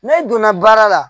N'e donna baara la